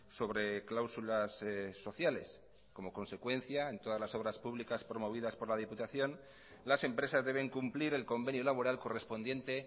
sobre cláusulas sociales como consecuencia en todas las obras públicas promovidas por la diputación las empresas deben cumplir el convenio laboral correspondiente